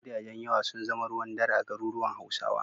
Gidajen yawa sun zama ruwan dare a garuruwan Hausawa.